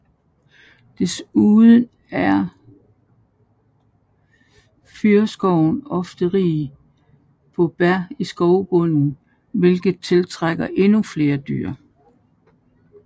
Desuden er fyrreskoven ofte rig på bær i skovbunden hvilket tiltrækker endnu flere dyr